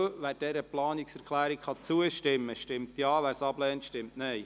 Wer dieser Planungserklärung zustimmen kann, stimmt Ja, wer sie ablehnt, stimmt Nein.